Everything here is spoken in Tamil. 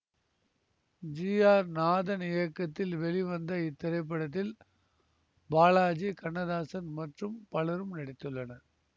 ஜி ஆர் நாதன் இயக்கத்தில் வெளிவந்த இத்திரைப்படத்தில் பாலாஜி கண்ணதாசன் மற்றும் பலரும் நடித்துள்ளனர்